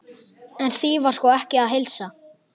En því var sko ekki að heilsa.